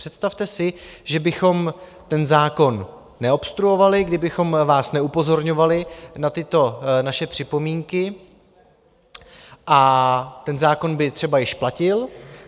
Představte si, že bychom ten zákon neobstruovali, kdybychom vás neupozorňovali na tyto naše připomínky, a ten zákon by třeba již platil.